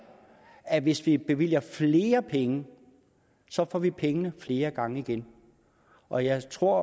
at hvis vi bevilger flere penge får vi pengene flere gange igen og jeg tror